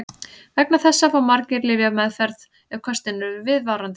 Vegna þessa fá margir lyfjameðferð ef köstin eru viðvarandi.